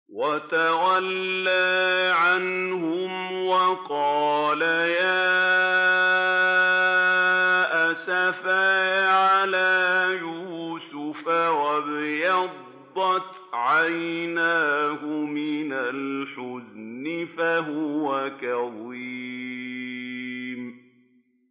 وَتَوَلَّىٰ عَنْهُمْ وَقَالَ يَا أَسَفَىٰ عَلَىٰ يُوسُفَ وَابْيَضَّتْ عَيْنَاهُ مِنَ الْحُزْنِ فَهُوَ كَظِيمٌ